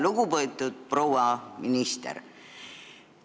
Lugupeetud proua minister!